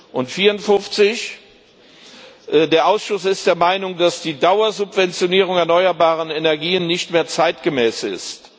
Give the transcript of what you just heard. und 54. Der Ausschuss ist der Meinung, dass die Dauersubventionierung der erneuerbaren Energien nicht mehr zeitgemäß ist.